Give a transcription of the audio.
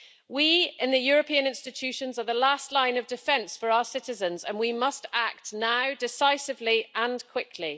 We in the European institutions are the last line of defence for our citizens, and we must act now, decisively and quickly.